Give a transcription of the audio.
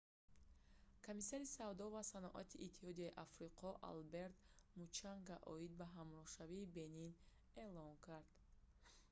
комиссари савдо ва саноати иттиҳодияи африқо алберт мучанга оид ба ҳамроҳшавии бенин эълон кард